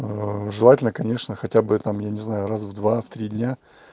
желательно конечно хотя бы там я не знаю раз в два три дня